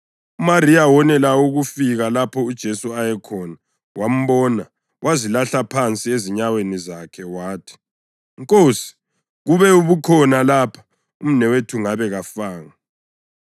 UMariya wonela ukufika lapho uJesu ayekhona, wambona, wazilahla phansi ezinyaweni zakhe wathi, “Nkosi, kube ubukhona lapha, umnewethu ngabe kafanga.”